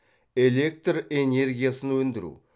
электр энергиясын өндіру